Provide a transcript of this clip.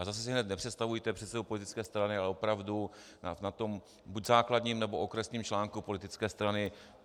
A zase si hned nepředstavujte předsedu politické strany, ale opravdu na tom buď základním, nebo okresním článku politické strany.